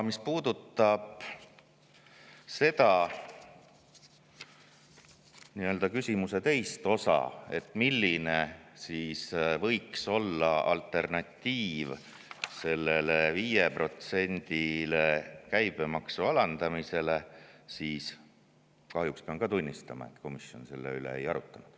Mis puudutab küsimuse teist osa, milline võiks olla käibemaksu 5%-le alandamise alternatiiv, siis kahjuks pean tunnistama, et komisjon selle üle ei arutlenud.